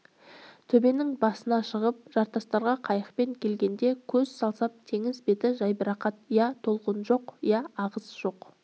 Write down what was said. төбенің басына шығып жартастарға қайықпен келгенде көз салсам теңіз беті жайбарақат я толқын жоқ я ағыс жоқ